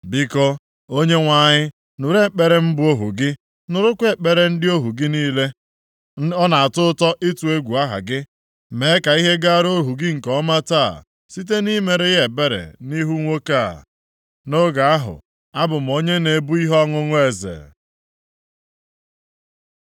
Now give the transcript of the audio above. Biko, Onyenwe anyị, nụrụ ekpere mụ bụ ohu gị, nụrụkwa ekpere ndị ohu gị niile ọ na-atọ ụtọ ịtụ egwu aha gị. Mee ka ihe gara ohu gị nke ọma taa site nʼimere ya ebere nʼihu nwoke a. + 1:11 Eze a na-ekwu maka ya nʼebe bụ Ataksekses, \+xt Ezr 4:21\+xt*” Nʼoge ahụ abụ m onye na-ebu ihe ọṅụṅụ eze.